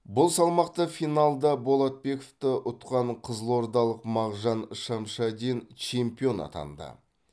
бұл салмақта финалда болатбековті ұтқан қызылордалық мағжан шамшадин чемпион атанды